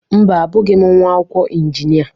Mba, abụghị m nwa akwụkwọ injinia.